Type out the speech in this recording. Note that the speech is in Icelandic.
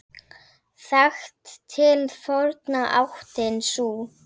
Þekkt til forna áttin sú.